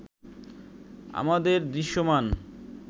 আমাদের দৃশ্যমান